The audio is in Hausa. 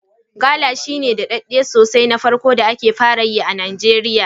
Gala shine naɗaɗɗan sosej na farko da ake fara yi a Nijeriya